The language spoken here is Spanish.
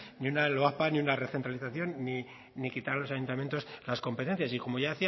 ni una loapa ni una recentralización ni quitar a los ayuntamientos las competencias y como ya